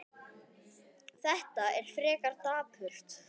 Þetta er frekar dapurt.